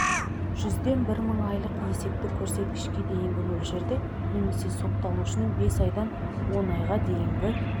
жүзден бір мың айлық есептік көрсеткішке дейінгі мөлшерде немесе сотталушының бес айдан он айға дейінгі